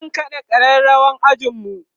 zan kaɗa ƙararawar anjima